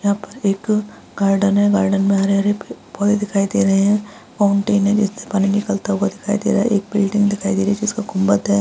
यहाँ पे एक गार्डन है गार्डन में हरे-हरे पे पौधे दिखाई दे रहे हैं फाउंटेन है जिसमें पानी निकलता हुआ दिखाई दे रहा है एक बिल्डिंग दिखाई दे रही है जिसमें गुम्बद है।